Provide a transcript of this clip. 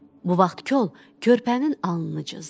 Bu vaxt kol körpənin alnını cızdı.